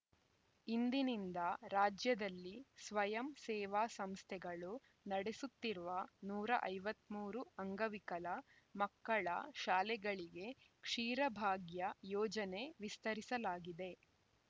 ಇಂದಿನಿಂದ ರಾಜ್ಯದಲ್ಲಿ ಸ್ವಯಂ ಸೇವಾ ಸಂಸ್ಥೆಗಳು ನಡೆಸುತ್ತಿರುವ ನೂರ ಐವತ್ತ್ ಮೂರು ಅಂಗವಿಕಲ ಮಕ್ಕಳ ಶಾಲೆಗಳಿಗೆ ಕ್ಷೀರಭಾಗ್ಯ ಯೋಜನೆ ವಿಸ್ತರಿಸಲಾಗಿದೆ